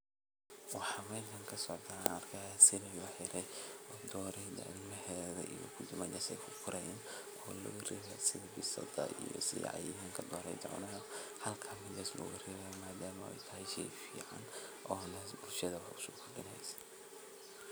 Waxa meshan kasocda aan arkihyaa silig laxirey dooreda ilmahedha iyo kudi meshaa ay kukorayaan oo loogarebayo sidha bisad iyo cayayanka doroda cunaayo halka ber loogarebayo madaama ey tahay shey fican oo bulshada lagusokordinayo.